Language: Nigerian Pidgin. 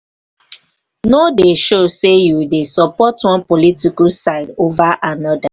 no dey show sey you dey support one political political side over anoda